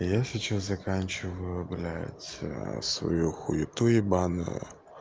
я сейчас заканчиваю блядь свою хуету ебаную